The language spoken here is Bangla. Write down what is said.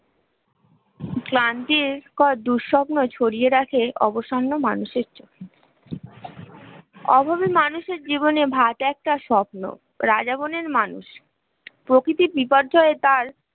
ক্লান্তির কর দুঃস্বপ্ন ছড়িয়ে রাখে অবসন্ন মানুষের চোখ অভাবী মানুষের জীবনে ভাট একটা স্বপ্ন রাজা মনের মানুষ প্রকৃতি তার